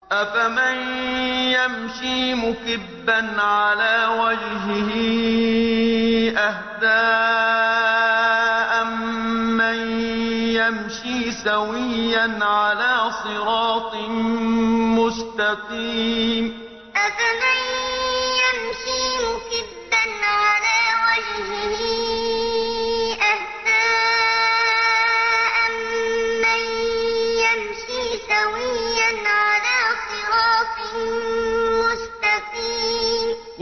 أَفَمَن يَمْشِي مُكِبًّا عَلَىٰ وَجْهِهِ أَهْدَىٰ أَمَّن يَمْشِي سَوِيًّا عَلَىٰ صِرَاطٍ مُّسْتَقِيمٍ أَفَمَن يَمْشِي مُكِبًّا عَلَىٰ وَجْهِهِ أَهْدَىٰ أَمَّن يَمْشِي سَوِيًّا عَلَىٰ صِرَاطٍ مُّسْتَقِيمٍ